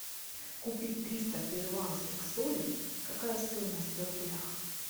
купить триста перуанских солей какая стоимость в рублях